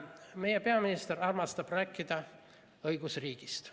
Meie peaminister armastab rääkida õigusriigist.